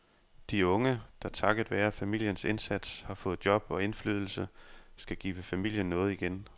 De unge, der takket være familiens indsats har fået job og indflydelse, skal give familien noget igen.